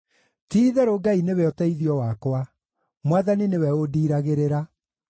Ti-itherũ Ngai nĩwe ũteithio wakwa; Mwathani nĩwe ũndiiragĩrĩra.